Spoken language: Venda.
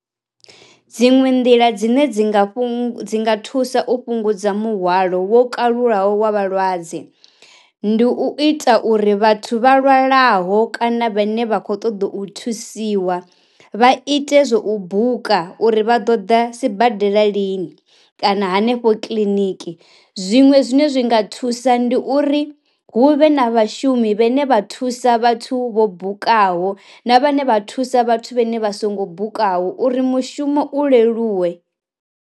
Dziṅwe nḓila dzine dzi nga dzi nga thusa u fhungudza muhwalo wo kalulaho wa vhalwadze, ndi u ita uri vhathu vha lwalaho kana vhane vha kho ṱoḓa u thusiwa vha ite zwa u buka uri vha ḓo ḓa sibadela lini kana hanefho kiḽiniki, zwiṅwe zwine zwi nga thusa ndi uri hu vhe na vha shumi vhe ne vha thusa vhathu vho bukaho na vhane vha thusa vhathu vhe ne vha songo bukaho uri mushumo u leluwe.